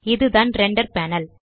இதுதான் render panel